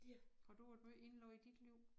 Har du været måj indlagt i dit liv?